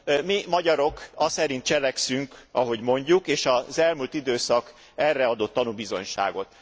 Mi magyarok aszerint cselekszünk, ahogy mondjuk, és az elmúlt időszak erre adott tanúbizonyságot.